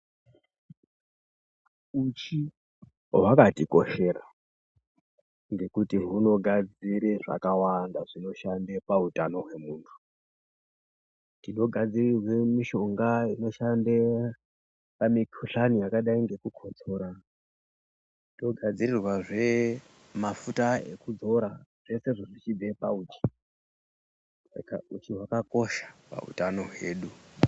Uchi hwakatikoshera ngekuti hunogadzire zvakawanda zvinoshande pautano hwemuntu. Tinogadzirirwe mishonga inoshande pamikuhlani yakadai ngekukotsora. Togadzirirwazve mafuta ekuzora zvesezvo zvichibve pauchi, saka uchi hwakakosha pautano hwedu.